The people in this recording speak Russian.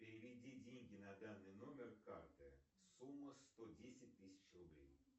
переведи деньги на данный номер карты сумма сто десять тысяч рублей